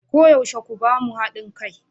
Koyaushe ku ba mu hadin kai.